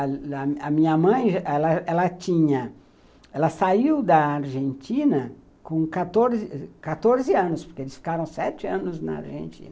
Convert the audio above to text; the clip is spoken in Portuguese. A minha mãe, ela ela tinha, ela saiu da Argentina com quatorze anos, porque eles ficaram sete anos na Argentina.